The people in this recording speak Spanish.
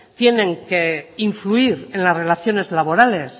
tienen que influir en las relaciones laborales